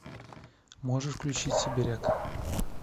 можешь включить сибиряк